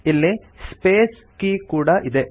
ಇಲ್ಲಿ space key ಕೂಡಾ ಇದೆ